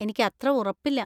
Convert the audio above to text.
എനിക്കത്ര ഉറപ്പില്ല.